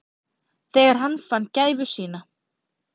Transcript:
Þegar hann fann gæfu sína.